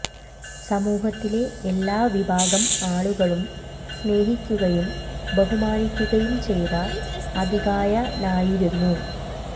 സമൂഹത്തിലെ എല്ലാ വിഭാഗം ആളുകളും സ്നേഹിക്കുകയും ബഹുമാനിക്കുകയും ചെയ്ത അതികായനായിരുന്നു